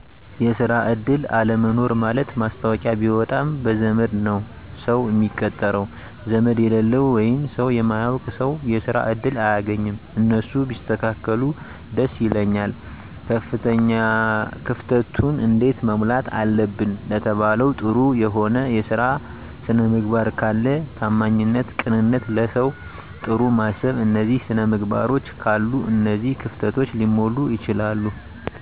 የስራ እድል አለመኖር ማለት ማስታወቂያ ቢወጣም በዘመድ ነዉ ሰዉ ሚቀጠረዉ ዘመድ የሌለዉ ወይም ሰዉ ማያዉቅ ሰዉ የስራ እድል አያገኝም እነሱ ቢስተካከሉ ደስ ይለኛል። ክፍተቱን እንዴት መሙላት አለብን ለተባለዉ ጥሩ የሆነ የስራ ስነምግባር ካለ ታማኝነት ቅንነት ለሰዉ ጥሩ ማሰብ እነዚህ ስነምግባሮች ካሉ እነዚህ ክፍተቶች ሊሞሉ ይችላሉ